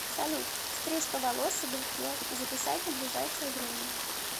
салют стрижка волос и бритье записать на ближайшее время